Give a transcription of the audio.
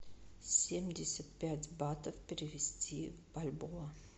семьдесят пять батов перевести в бальбоа